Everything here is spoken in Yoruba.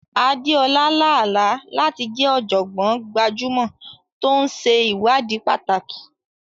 Adeola lá àlá láti jẹ́ ọ̀jọ̀gbọ́n gbajúmọ̀ tó ń ṣe ìwádìí pàtàkì.